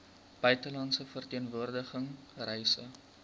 buitelandse verteenwoordiging reise